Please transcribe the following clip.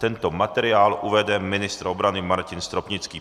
Tento materiál uvede ministr obrany Martin Stropnický.